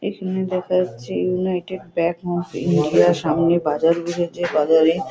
এখানে দেখা যাচ্ছে ইউনাইটেড ব্যাক অফ ইন্ডিয়া -র সামনে বাজার বসেছে বাজারে--